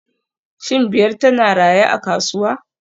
Shin Biyar tana raye a kasuwa